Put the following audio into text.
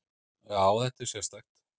Já, þetta er sérstakt.